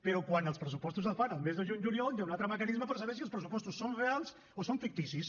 però quan els pressupostos es fan el mes de juny juliol hi ha un altre mecanisme per saber si els pressupostos són reals o són ficticis